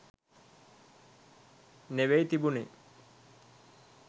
නෙවෙයි තිබුණේ.